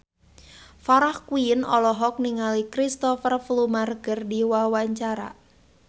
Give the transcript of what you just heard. Farah Quinn olohok ningali Cristhoper Plumer keur diwawancara